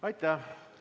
Aitäh!